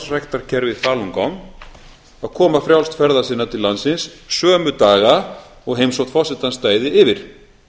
að iðka sjálfsræktarkerfið falun gong að koma frjálst ferða sinna til landsins sömu daga og heimsókn forsetans stæði yfir